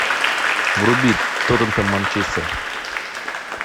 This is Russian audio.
вруби тоттенхэм манчестер